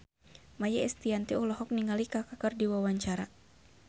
Maia Estianty olohok ningali Kaka keur diwawancara